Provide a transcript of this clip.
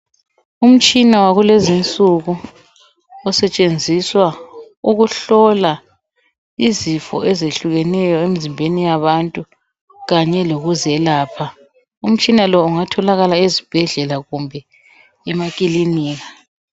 Umtshina wakulezi nsuku osetshenziswa ukuhlola izifo ezehlukeneyo emzimbeni yabantu kanye lokuzelapha, umtshina lo ungatholakala ezibhedlela kumbe emakilinika.